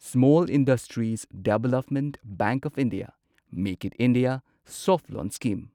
small industries development bank of India make in India soft loan scheme